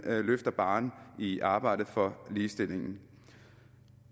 løfter barren i arbejdet for ligestillingen